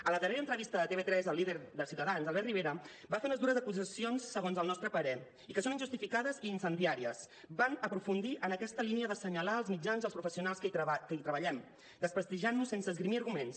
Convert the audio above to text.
a la darrera entrevista de tv3 al líder de ciutadans albert rivera va fer unes dures acusacions segons el nostre parer i que són injustificades i incendiàries van a aprofundir en aquesta línia d’assenyalar els mitjans i els professionals que hi treballem desprestigiant nos sense esgrimir arguments